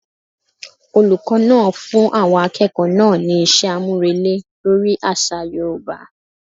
Olùkó náà fún àwọn akẹ́kọ̀ọ́ náà ní iṣẹ́ àmúrelé lórí àṣà yoòbá